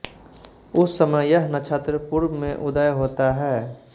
उस समय यह नक्षत्र पूर्व में उदय होता है